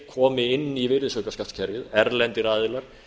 komi inn í virðisaukaskattskerfið erlendir aðilar